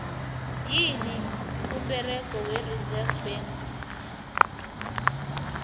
yini umberego we reserve bank